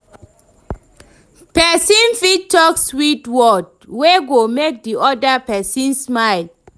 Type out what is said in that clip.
Persin fit talk sweet word wey go make di other persin smile